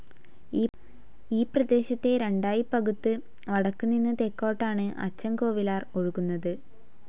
ഈപ്രദേശത്തെ രണ്ടായി പകുത്തു വടക്കു നിന്ന് തെക്കോട്ടാണ് അച്ചൻ കോവിലാർ ഒഴുകുന്നത്.